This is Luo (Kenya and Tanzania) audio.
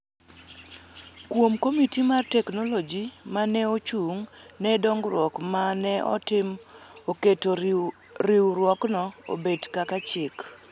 kuom komiti mar teknoloji ma ne ochung� ne dongruok ma ne otim e keto Riwruokno obed kaka chik.